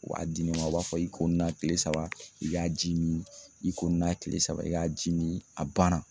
U b'a di ne ma u b'a fɔ i ko nin na kile saba i k'a ji min, i ko nin na kile saba i k'a ji min a banna.